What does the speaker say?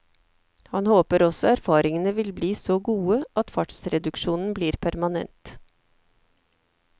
Han håper også erfaringene vil bli så gode at fartsreduksjonen blir permanent.